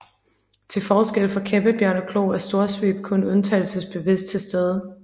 Til forskel fra kæmpebjørneklo er storsvøb kun undtagelsevist til stede